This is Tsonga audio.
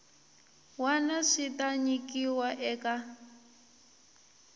wana swi ta nyikiwa eka